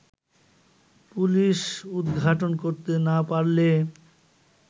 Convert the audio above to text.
police উদ্ঘাটন করতে না পারলে